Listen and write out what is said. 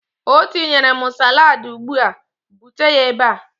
Ọ tinyere m salaadi ugbu a. Bute ya ebe a!